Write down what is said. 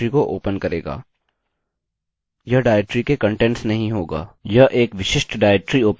यह एक विशिष्ट डाइरेक्टरी ओपन करेगी यानि यह डाइरेक्टरी